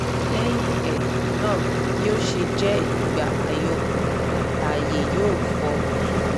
lẹ́yìn um náà bi o ṣe jẹ́ ìgbà àyọkù ààyè yóò fọ́ sódò